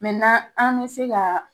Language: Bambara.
an bɛ se ka